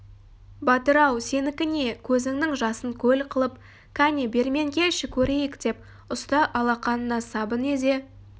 батыр-ау сенікі не көзіңнің жасын көл қылып кәне бермен келші көрейік деп ұста алақанына сабын езе